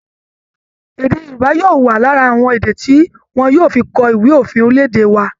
Èdè Yorùbaá yóò wà lára àwọn èdè tí wọn yóò fi kọ ìwé òfin orílẹ̀-èdè wa